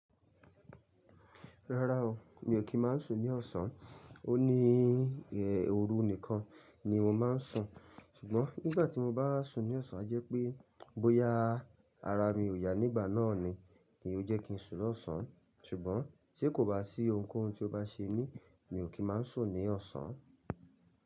Rárá o, mi ò kí máa sùn ní ọ̀sán. O ní ẹ́ òru nìkan ni mo máa ń sùn. Ṣùgbọ́n nígbà tí mo bá sùn ní ọ̀sán jẹ́ pé bóyá ara mi ò yá nígbà náà ni, ní ó jẹ́ kí n sùn lọ́ ọ̀sán. Ṣùgbọ́n ti kò bá sí ohunkóhun tí ó bá ṣe mí, mi ò kí máa sùn ní ọ̀sán.